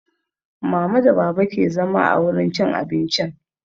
Mama da baba ke zama a wurin cin abincin